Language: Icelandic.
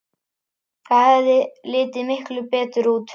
Það hefði litið miklu betur út.